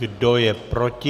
Kdo je proti?